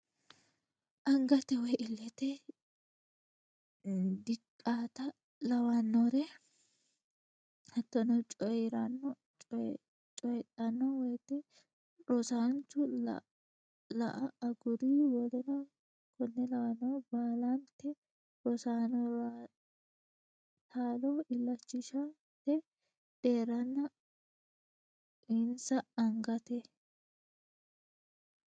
Angate woy illete diqata lawannore hattono coyi ranno coydhanno woyte rosaancho la a aguri w k l Baalante rosaanora taalo illachishate deerranna uyinsa Angate.